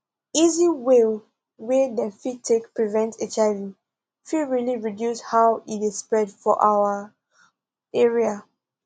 easy way wey dem fit take prevent hiv fit really reduce how e dey spread for our area